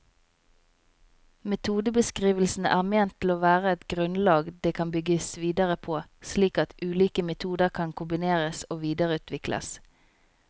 Metodebeskrivelsene er ment å være et grunnlag det kan bygges videre på, slik at ulike metoder kan kombineres og videreutvikles.